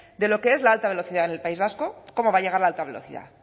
de lo que es la alta velocidad en el país vasco cómo va a llegar la alta velocidad